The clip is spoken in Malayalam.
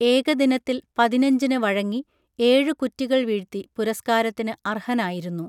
ഏകദിനത്തിൽ പതിനഞ്ചിന് വഴങ്ങി ഏഴു കുറ്റികൾ വീഴ്ത്തി പുരസ്കാരത്തിന് അർഹനായിരുന്നു